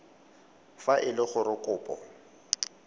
fa e le gore kopo